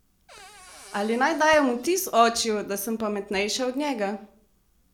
Ali naj dajem vtis očiju, da sem pametnejša od njega?